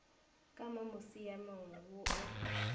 ka mo musiamong wo o